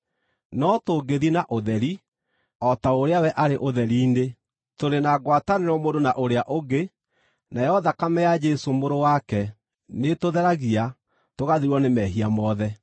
No tũngĩthiĩ na ũtheri, o ta ũrĩa we arĩ ũtheri-inĩ, tũrĩ na ngwatanĩro mũndũ na ũrĩa ũngĩ, nayo thakame ya Jesũ, Mũrũ wake, nĩĩtũtheragia, tũgathirwo nĩ mehia mothe.